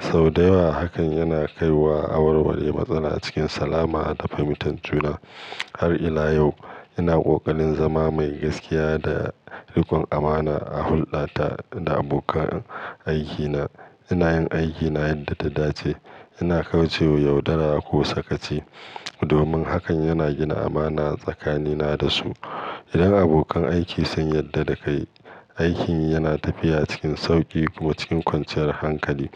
Sau da yawa hakan yana kai wa warware matsala cikin salama da fahimtar juna. Har ila yau ina ƙoƙarin zama mai gaskiya da rikon amana a hulɗata da abokan aikina. Ina yin aikina yadda ta dace, ina kauce wa yaudara ko sakaci domin hakan yana gina amana tsakanina da su. Idan abokan aiki sun yarda da kai, aikin yana tafiya cikin sauƙi kuma cikin kwanciyar hankali.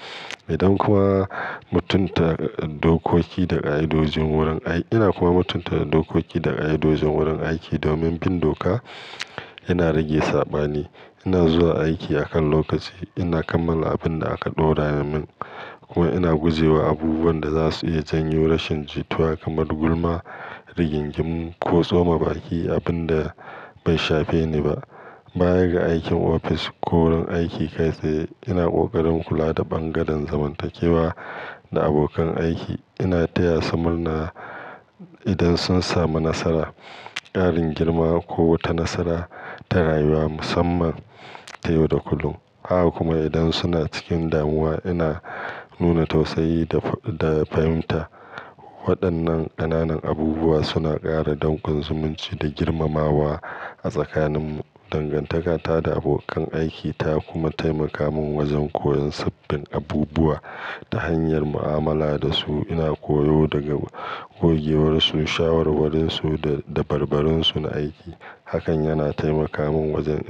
Idan kuma mutunta dokoki da ka'idojin wurin ai-- ina kuma mutunta dokoki da ka'idojin wurin aiki domin bin doka yana rage saɓani. Ina zuwa aiki a kan lokaci, ina kammala abin da aka ɗora min kuma ina guje wa abubuwan da za su iya janyo rashin jituwa kamar gulma, rigingimu ko tsoma baki, abin da bai shafe ni ba. Bayaga aikin ofis ko wurin aiki kai tsaye, ina ƙoƙarin kula da ɓangaren zamantakewa da abokan aiki. Ina taya su murna idan sun samu nasara, ƙarin girma ko wata nasara ta rayuwa musamman, ta yau da kullum. Haka kuma idan suna cikin damuwa, ina nuna tausayi da, da fahimta. Waɗannan ƙananan abubuwa suna ƙara dankon zumunci da girmamawa a tsakaninmu. Dangantaka ta da abokan aiki ta kuma taimaka min wajen koyon sabbin abubuwa ta hanyar mu'amala da su. Ina koyo daga gogewarsu, shawarwarinsu, da, dabarbarinsu na aiki. Hakan yana taimaka min wajen--